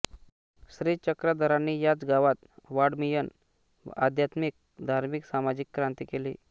श्री चक्रधरांनी याच गावात वाङ्मयीन आध्यात्मिक धार्मिक सामाजिक क्रांती केली